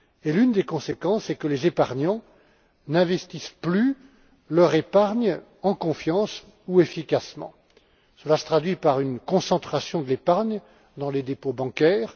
L'une des conséquences est que les épargnants n'investissent plus leur épargne en confiance ou efficacement. Cela se traduit par une concentration de l'épargne dans les dépôts bancaires.